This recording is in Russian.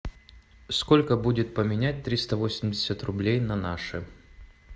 сколько будет поменять триста восемьдесят рублей на наши